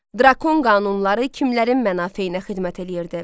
Drakon qanunları kimlərin mənafeyinə xidmət eləyirdi?